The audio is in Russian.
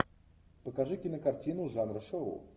покажи кинокартину жанра шоу